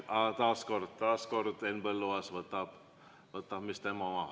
Aga taas kord, taas kord Henn Põlluaas võtab, mis tema oma.